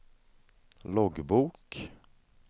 loggbok